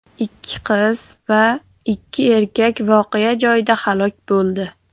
Ikki qiz va ikki erkak voqea joyida halok bo‘ldi.